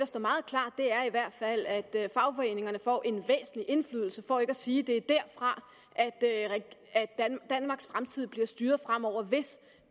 står meget klart er i hvert fald at fagforeningerne får en væsentlig indflydelse for ikke at sige at det er derfra danmarks fremtid bliver styret fremover hvis